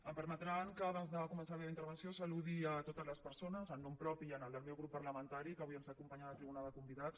em permetran que abans de començar la meva intervenció saludi totes les persones en nom propi i del meu grup parlamentari que avui ens acompanyen a la tribuna de convidats